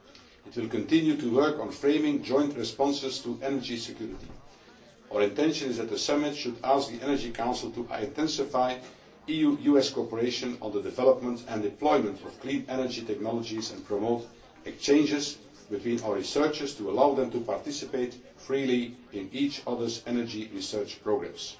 it will continue to work on framing joint responses to energy security. Our intention is that the summit should ask the Energy Council to intensify EU US cooperation on the development and deployment of green energy technologies and promote exchanges between our researchers to allow them to participate freely in each other's energy research programmes.